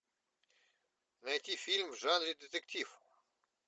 найти фильм в жанре детектив